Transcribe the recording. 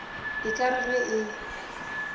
e ka re ge e